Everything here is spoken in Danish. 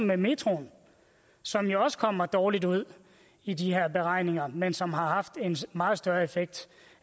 med metroen som jo også kom dårligt ud i de her beregninger men som har haft en meget større effekt